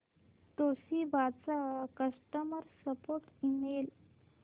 Toshiba चा customer support email